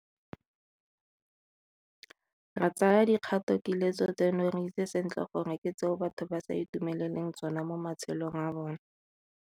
Re tsaya dikgatokiletso tseno re itse sentle gore ke tseo batho ba sa itumeleleng tsone mo matshelong a bona.